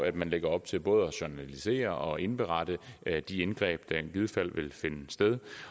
at man lægger op til både at journalisere og indberette de indgreb der i givet fald vil finde sted